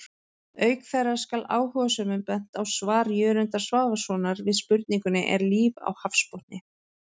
Auk þeirra skal áhugasömum bent á svar Jörundar Svavarssonar við spurningunni Er líf á hafsbotni?